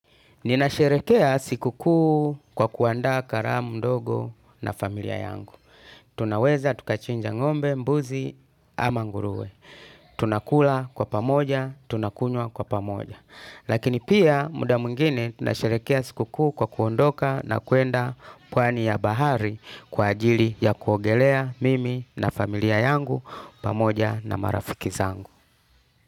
Ninasherehekea siku kuu kwa kuandaa karamu ndogo na familia yangu. Tunaweza tukachinja ngombe, mbuzi ama ngurue. Tunakula kwa pamoja, tunakunwa kwa pamoja. Lakini pia muda mwingine tunasherehekea siku kuu kwa kuondoka na kuenda pwani ya bahari kwa ajili ya kuogelea mimi na familia yangu pamoja na marafiki zangu.